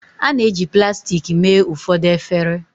a na-eji plastik mee ụfọdụ efere